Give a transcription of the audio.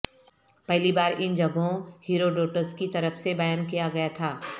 پہلی بار ان جگہوں ہیروڈوٹس کی طرف سے بیان کیا گیا تھا